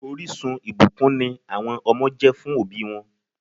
Orísun ìbùkún ni àwọn ọmọ jẹ́ fún òbí wọn